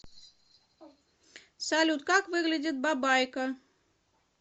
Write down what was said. салют как выглядит бабайка